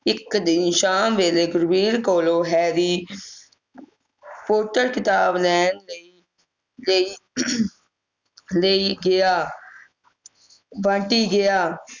ਇਕ ਦਿਨ ਸ਼ਾਮ ਵੇਲੇ ਗੁਣਬੀਰ ਕੋਲੋਂ harry potter ਕਿਤਾਬ ਲੈਣ ਲਈ ਲਈ ਲਈ ਗਿਆ ਬੰਟੀ ਗਿਆ